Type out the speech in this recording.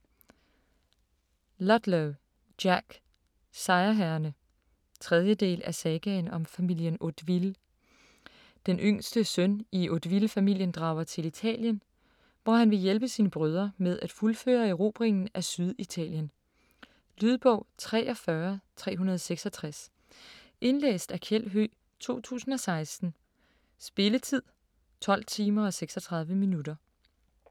Ludlow, Jack: Sejrherrerne 3. del af Sagaen om familien Hauteville. Den yngste søn i Hauteville-familien drager til Italien, hvor han vil hjælpe sine brødre med at fuldføre erobringen af Syditalien. Lydbog 43366 Indlæst af Kjeld Høegh, 2016. Spilletid: 12 timer, 36 minutter.